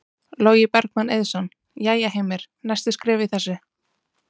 Logi Bergmann Eiðsson: Jæja Heimir, næstu skref í þessu?